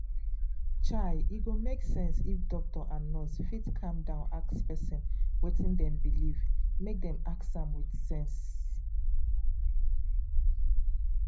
um e go make sense if doctor and nurse fit calm down ask person wetin dem believe but make dem ask am with sense.